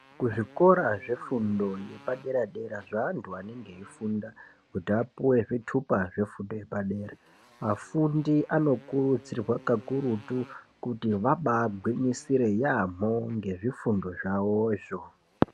Kuzvikora zvefundo yepadera dera zveanthu anenge eifunda kuti apuwe zvitupa zvefundo yepadera afundi anokurudzirwa kakurutu kuti vabaagwinyisire yaamho ngezvifundo zvavowozvo.